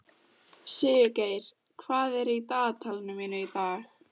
Sigurgeir, hvað er í dagatalinu mínu í dag?